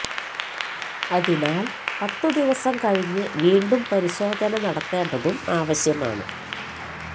അതിനാല് പത്തു ദിവസം കഴിഞ്ഞ് വീണ്ടും പരിശോധന നടത്തേണ്ടതും ആവശ്യമാണ്